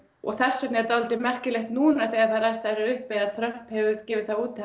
og þess vegna er merkilegt núna þegar þær aðstæður eru uppi að Trump gefur það út